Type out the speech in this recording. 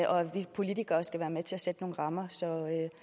vi politikere skal være med til at sætte nogle rammer så